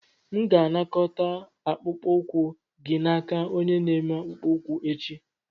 M ga-anakọta akpụkpọ ụkwụ gị n'aka onye na-eme akpụkpọ ụkwụ echi.